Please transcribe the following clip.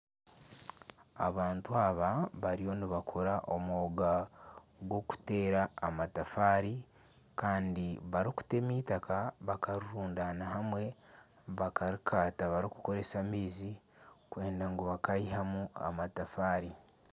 Abantu aba bariyo nibakora omwoga gw'okuteera amatafaari barikutema eitaka bakarirundana hamwe bakarikaata barikukoresa amaizi kwenda ngu bakayihamu amatafaari.